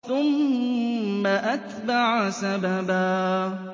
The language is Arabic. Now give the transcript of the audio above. ثُمَّ أَتْبَعَ سَبَبًا